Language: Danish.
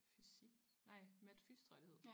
Fysik nej mat fys tror jeg det hed